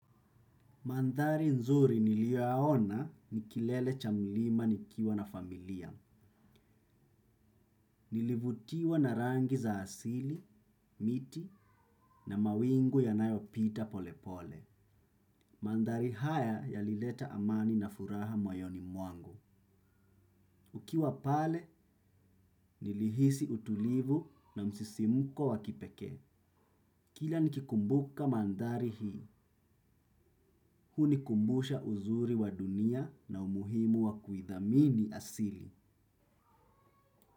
Mandhari nzuri niliyoyaona ni kilele cha milima nikiwa na familia. Nilivutiwa na rangi za asili, miti na mawingu yanayopita pole pole. Mandhari haya yalileta amani na furaha moyoni mwangu. Ukiwa pale, nilihisi utulivu na msisimuko wa kipekee. Kila nikikumbuka mandhari hii. Huunikumbusha uzuri wa dunia na umuhimu wa kuidhamini asili.